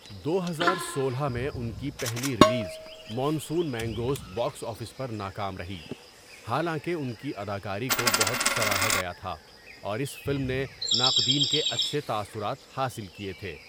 دو ہزار سولہ میں، ان کی پہلی release, monsoon mangoes, box office پر ناکام رہی، حالانکہ ان کی اداکاری کو بہت سراہا گیا تھا اور اس فلم نے ناقدین کے اچھے تأثرات حاصل کیے تھے.